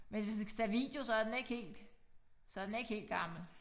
Men hvis den skal tage video så er den ikke helt så den ikke helt gammel